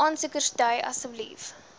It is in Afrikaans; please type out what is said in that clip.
aansoekers dui asseblief